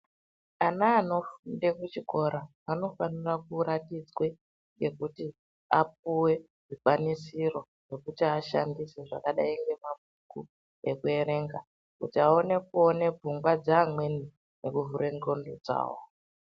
Ana anofunda muchikora anofanire kuratidzwe pekuti apuwe zvikwanisiro zvekuti ashandise zvakadai ngemabhuku ekuerenga kuti aone kuone pfungwa dzeamweni nekuvhura ndhlondo dzawo.